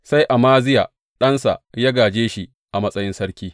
Sai Amaziya ɗansa ya gāje shi a matsayin sarki.